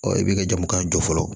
i b'i ka jamu kan jɔ fɔlɔ